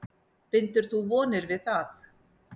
Bindur þú vonir við það?